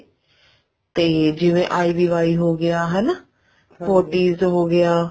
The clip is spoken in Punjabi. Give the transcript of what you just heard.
ਤੇ ਜਿਵੇਂ IVI ਹੋਗਿਆ forties ਹੋਗਿਆ